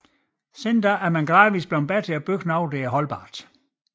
Siden er man gradvist blevet bedre til at bygge holdbart